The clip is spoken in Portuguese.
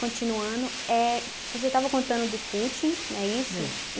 Continuando, éh você estava contando do footing, né isso? É.